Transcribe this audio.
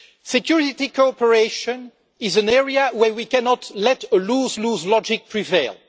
Security cooperation is an area where we cannot let lose lose logic prevail.